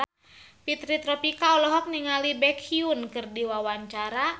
Fitri Tropika olohok ningali Baekhyun keur diwawancara